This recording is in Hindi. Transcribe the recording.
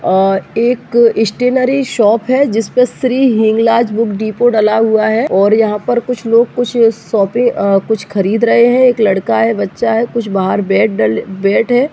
अअ एक स्टेनरी शॉप है। जिस पे श्रीहिंगलाज बुक डिपो डला हुआ है और यहाँ पर लोग कुछ शॉपे अ कुछ खरीद रहे हैं। एक लड़का है बच्चा है कुछ बाहर बैग डले ब बैट है।